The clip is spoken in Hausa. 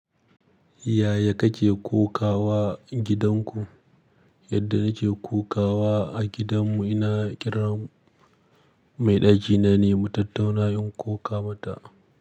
Yaya kake kokawa gidan ku? Yadda nake kokawa a gidan mu ina ƙiran mai ɗaki na ne mu tattauna in koka ma ta.